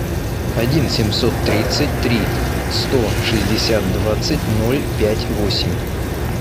один семьсот тридцать три сто шестьдесят двадцать ноль пять восемь